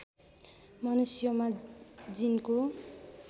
मनुष्योंमा जीनको